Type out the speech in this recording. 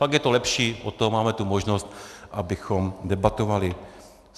Fakt je to lepší, od toho máme tu možnost, abychom debatovali.